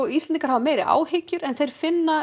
Íslendingar hafa meiri áhyggjur en finna